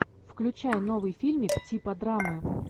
включай новый фильмик типа драмы